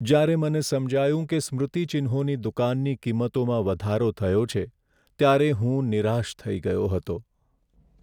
જ્યારે મને સમજાયું કે સ્મૃતિચિહ્નોની દુકાનની કિંમતોમાં વધારો થયો છે, ત્યારે હું નિરાશ થઈ ગયો હતો.